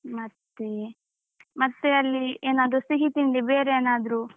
ಮತ್ತೆ ಮತ್ತೆ ಅಲ್ಲಿ ಏನಾದ್ರು ಸಿಹಿತಿಂಡಿ ಬೇರೆ ಏನಾದ್ರು.